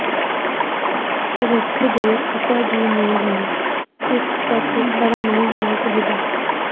ਭਵਿੱਖ ਦੇ ਪਿਤਾ ਜੀ ਨੂੰ ਵੀ ਇਕ ਪਾਸੇ ਖੜ੍ਹਾ ਨਹੀਂ ਹੋਣਾ ਚਾਹੀਦਾ